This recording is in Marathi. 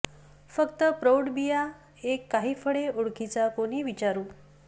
फक्त प्रौढ बिया एक काही फळे ओळखीचा कोणी विचारू